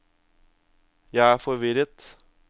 jeg er forvirret